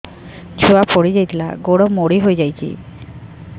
ଛୁଆ ପଡିଯାଇଥିଲା ଗୋଡ ମୋଡ଼ି ହୋଇଯାଇଛି